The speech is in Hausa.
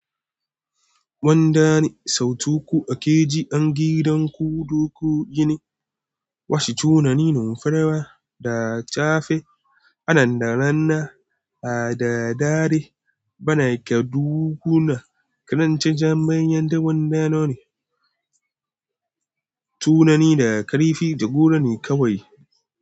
Wanda ni, sau tu ku a keji an gidan ku, duk ku gini. Washe tunani nun farawa da cafe, anan da ranna a da dare, bana ke dukuna. Kanance Jamaniyan da wanda noni. Tunani da karifi da gura ne kawai.